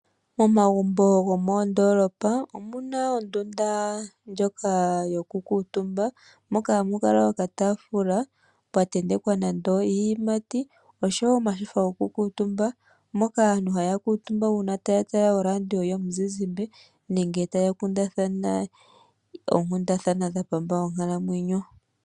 Momagumbo gomoondolopa omuna ondunda ndjoka yoku kuutumba, moka hamu kala okatafula pwa tentekwa nande iiyimati, oshowo omashofa goku kutumba, moka aantu haya kutumba una taya tala oradio yomuzizimbe, nenge taya kundathana oonkundathana dha pamba onkalamwenyo.